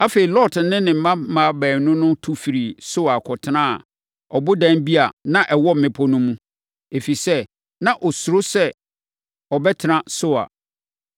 Afei, Lot ne ne mmammaa baanu no tu firii Soar kɔtenaa ɔbodan bi a na ɛwɔ mmepɔ no mu, ɛfiri sɛ, na ɔsuro sɛ ɔbɛtena Soar.